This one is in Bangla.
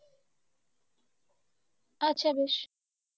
আচ্ছা বেশ।